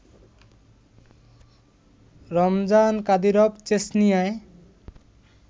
Ramzan Kadyrov চেচনিয়ায়